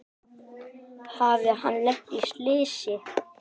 Hafði hann lent í slysi?